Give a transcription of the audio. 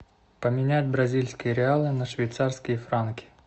поменять бразильские реалы на швейцарские франки